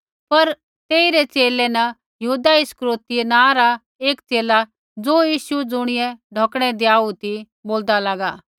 पर तेइरै च़ेले न यहूदा इस्करियोती नाँ रा एक च़ेला ज़ो यीशु ज़ुणियै ढौकणै धियाऊ ती बोलदा लागा